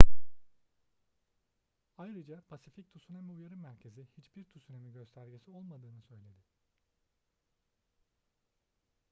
ayrıca pasifik tsunami uyarı merkezi hiçbir tsunami göstergesi olmadığını söyledi